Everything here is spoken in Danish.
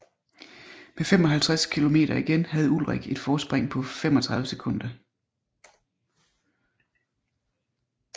Med 55 kilometer igen havde Ullrich et forspring på 35 sekunder